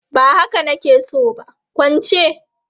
Ba haka na ke so ba, kwance!